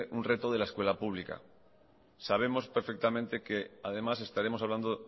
un reto de le escuela pública sabemos perfectamente que además estaremos hablando